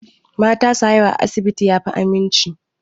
Mata su haihu a asibiti ya fi aminci.